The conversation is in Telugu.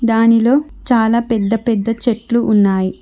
దానిలో చాలా పెద్ద పెద్ద చెట్లు ఉన్నాయి.